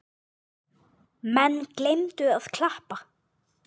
Menn gleymdu að klappa.